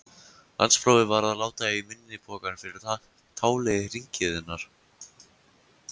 Landsprófið varð að láta í minni pokann fyrir táli hringiðunnar.